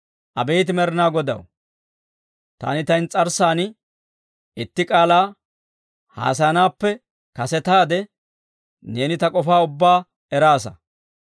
Abeet Med'inaa Godaw, taani ta ins's'arssan itti k'aalaa haasayanaappe kasetaade, neeni ta k'ofaa ubbaa eraasa.